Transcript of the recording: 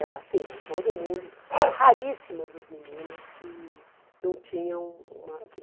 Era assim, né todo mundo, raríssimas as meninas que não tinham uma, que